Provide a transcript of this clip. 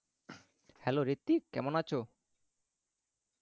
Hello Ritwik কেমন আছো?